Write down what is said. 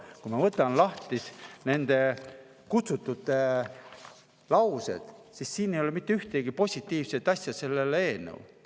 Kui ma võtan lahti kutsutute laused, siis siin ei ole mitte ühtegi positiivset asja selle eelnõu kohta.